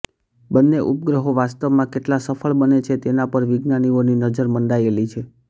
બંને ઉપગ્રહો વાસ્તવમાં કેટલા સફળ બને છે તેના પર વિજ્ઞાનીઓની નજર મંડાયેલી છે